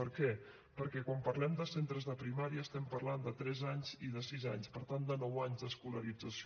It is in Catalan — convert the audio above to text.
per què perquè quan parlem de centres de primària estem parlant de tres anys i de sis anys per tant de nou anys d’escolarització